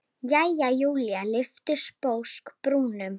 Jæja, Júlía lyfti sposk brúnum.